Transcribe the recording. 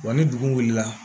Wa ni dugu wulila